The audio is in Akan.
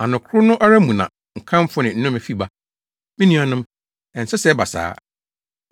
Ano koro no ara mu na nkamfo ne nnome fi ba. Me nuanom, ɛnsɛ sɛ ɛba saa.